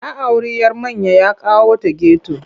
Ya auri 'yar manya ya kawo ta geto.